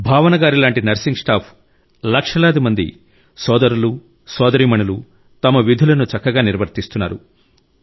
భావన గారిలాంటి nursing staff లక్షలాది మంది సోదరులు సోదరీమణులు తమ విధులను చక్కగా నిర్వర్తిస్తున్నారు